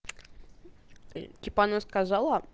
кип она сказала